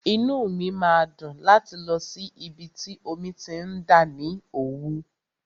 Inú mi máa dùn láti lọ sí ibi tí omi ti ń dà ní Òwú.